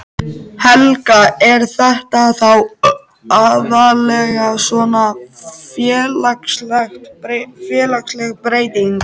Helga: Er þetta þá aðallega svona félagsleg breyting?